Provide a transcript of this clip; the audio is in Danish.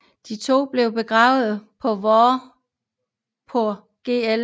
De to blev de begravet på Vorupør Gl